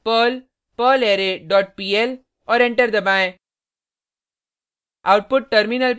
type करें perl perlarray dot pl और enter दबाएँ